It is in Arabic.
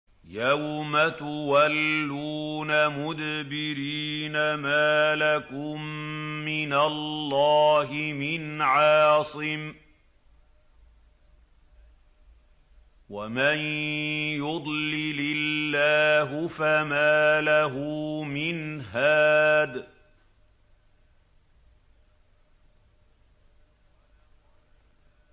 يَوْمَ تُوَلُّونَ مُدْبِرِينَ مَا لَكُم مِّنَ اللَّهِ مِنْ عَاصِمٍ ۗ وَمَن يُضْلِلِ اللَّهُ فَمَا لَهُ مِنْ هَادٍ